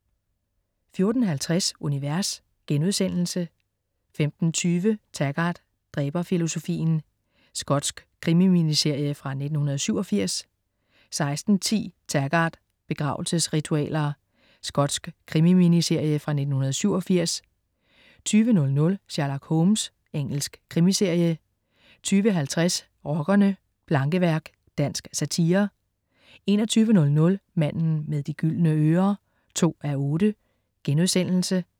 14.50 Univers* 15.20 Taggart: Dræberfilosofien. Skotsk krimi-miniserie fra 1987 16.10 Taggart: Begravelsesritualer. Skotsk krimi-miniserie fra 1987 20.00 Sherlock Holmes. Engelsk krimiserie 20.50 Rockerne: Plankeværk. Dansk satire 21.00 Manden med de gyldne ører 2:8*